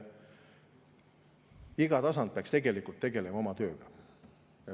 Iga tasand peaks tegelema oma tööga.